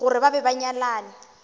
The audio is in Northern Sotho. gore ba be ba nyalane